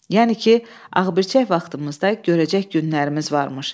Yəni ki, ağbırçək vaxtımızda görəcək günlərimiz varmış.